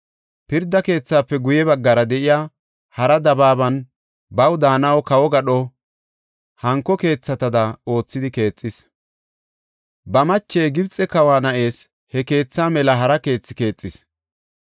Pirda Keethaafe guye baggara de7iya hara dabaaban baw daanaw kawo gadho hanko keethatada oothidi keexis. Ba mache, Gibxe kawa na7ees, he keetha mela hara keethe keexis.